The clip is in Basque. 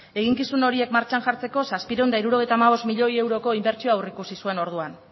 eginkizun horiek martxan jartzeko zazpiehun eta hirurogeita hamabost milioi euroko inbertsioa aurreikusi zuen orduan